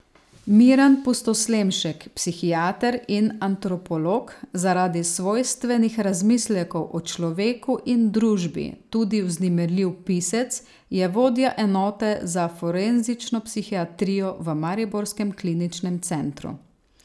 Miran Pustoslemšek, psihiater in antropolog, zaradi svojstvenih razmislekov o človeku in družbi tudi vznemirljiv pisec, je vodja enote za forenzično psihiatrijo v mariborskem Kliničnem centru.